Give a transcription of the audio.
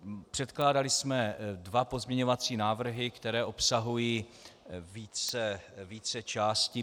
Předkládali jsme dva pozměňovací návrhy, které obsahují více částí.